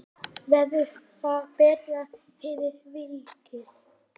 Verður það betra fyrir vikið?